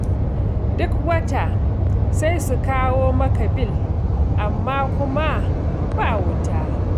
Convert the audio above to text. Duk wata sai su kawo maka bil, amma kuma ba wuta.